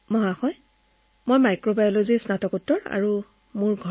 sir মই মাইক্ৰবায়লজীত MSc মই কৰিলোঁ